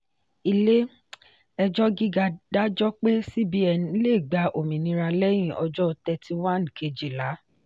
ilé-ẹjọ́ gíga dájọ́ pé cbn lè gba òmìnira lẹ́yìn ọjọ́ thirty one kejìlá.